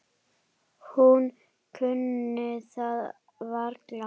Hún kunni það varla.